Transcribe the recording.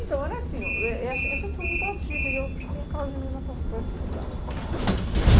Então, era assim, eh eh eu sem sempre fui muito ativa e eu tinha aquelas meninas para para estudar. E